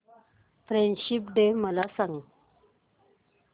friendship day मला सांग